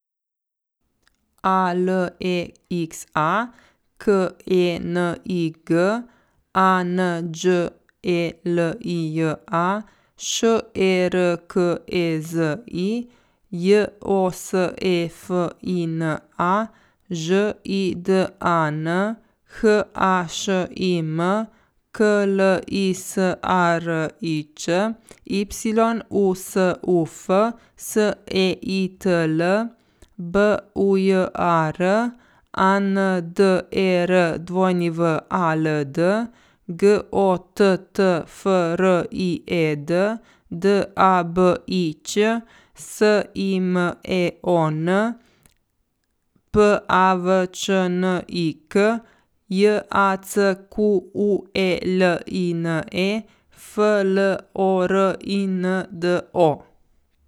A L E X A, K E N I G; A N Đ E L I J A, Š E R K E Z I; J O S E F I N A, Ž I D A N; H A Š I M, K L I S A R I Č; Y U S U F, S E I T L; B U J A R, A N D E R W A L D; G O T T F R I E D, D A B I Ć; S I M E O N, P A V Č N I K; J A C Q U E L I N E, F L O R I N D O.